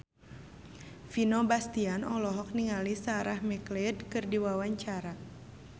Vino Bastian olohok ningali Sarah McLeod keur diwawancara